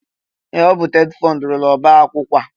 Ee! Ọ bụ TETFUND rụrụ ọbaakwụkwọ a.